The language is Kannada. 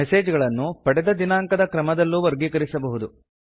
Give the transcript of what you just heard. ಮೆಸೇಜ್ ಗಳನ್ನು ಪಡೆದ ದಿನಾಂಕದ ಕ್ರಮದಲ್ಲೂ ವರ್ಗೀಕರಿಸಬಹುದು